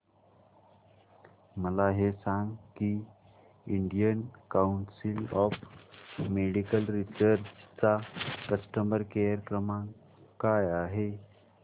मला हे सांग की Indian council of medical research चा कस्टमर केअर क्रमांक काय आहे